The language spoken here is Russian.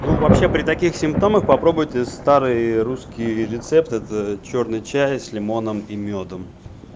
ну вообще при таких симптомах попробуйте старые русские рецепты это чёрный чай с лимоном и мёдом